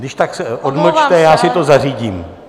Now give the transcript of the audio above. Kdyžtak se odmlčte, já si to zařídím.